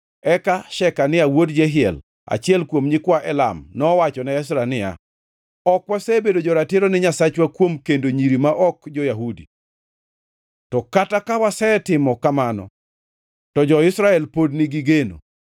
Eka Shekania wuod Jehiel, achiel kuom nyikwa Elam, nowachone Ezra niya, “Ok wasebedo jo-ratiro ni Nyasachwa kuom kendo nyiri ma ok jo-Yahudi. To kata ka wasetimo kamano, to jo-Israel pod nigi geno.